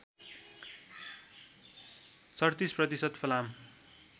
३७ प्रतिशत फलाम